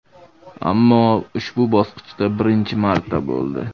Ammo ushbu bosqichda birinchi marta bo‘ldi.